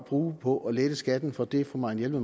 bruge på at lette skatten for dem fru marianne